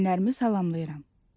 Valideynlərimi salamlayıram.